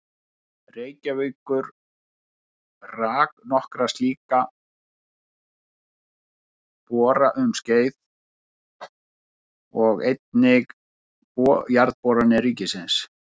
Reykjavíkur rak nokkra slíka bora um skeið og einnig Jarðboranir ríkisins.